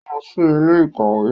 O lọ sí ilé-ìkawe